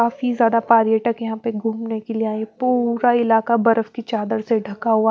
काफी ज्यादा पार्यटक यहां पे घूमने के लिए आए पूरा इलाका बर्फ की चादर से ढका हुआ।